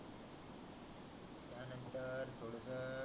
नंतर थोडस